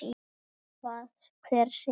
Sama hvað hver segði.